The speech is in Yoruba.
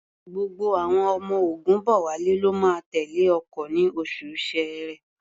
Gbogbo àwọn ọmọ Ògúnbọ̀wálé ló máa tẹ̀lé ọkọ̀ ní oṣù Ṣẹẹrẹ.